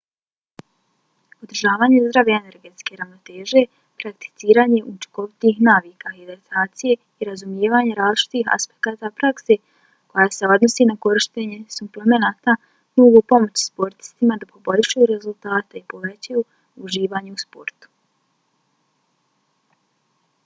održavanje zdrave energetske ravnoteže prakticiranje učinkovitih navika hidratacije i razumijevanje različitih aspekata prakse koja se odnosi na korištenje suplemenata mogu pomoći sportistima da poboljšaju rezultate i povećaju uživanje u sportu